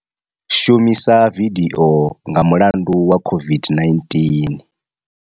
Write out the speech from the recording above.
Shumisa vidio nga mulandu wa COVID-19.